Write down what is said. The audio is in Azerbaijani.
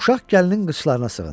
Uşaq gəlinin qıcllarına sığındı.